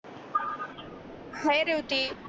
हाय ज्योती